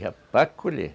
Já para colher.